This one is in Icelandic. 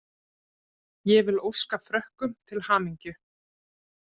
Ég vil óska Frökkum til hamingju.